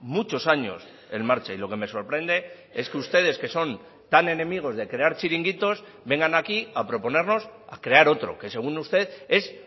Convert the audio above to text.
muchos años en marcha y lo que me sorprende es que ustedes que son tan enemigos de crear chiringuitos vengan aquí a proponernos a crear otro que según usted es